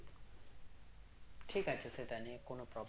ঠিক আছে সেটা নিয়ে কোন problem নেই